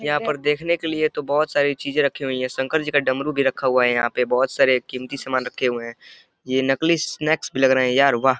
यहाँ पर देखने के लिए तो बोहोत सारा चीजें रखे हुई हैं शंकर जी का डमरू भी रखा हुआ है यहाँ पे बोहोत सारे कीमती समान रखे हुए हैं। ये नकली स्नैक्स भी लग रहे हैं यहाँ पे वाह।